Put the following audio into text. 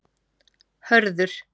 Hörður